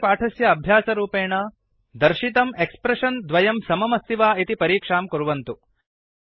अस्य पाठस्य अभ्यासरूपेण दर्शितं एक्स्प्रेषन् द्वयम् समम् अस्ति वा इति परीक्षां कुर्वन्तु